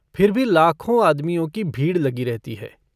फिर भी लाखों आदमियों की भीड़ लगी रहती है।